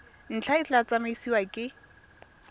ntlha e tla tsamaisiwa ke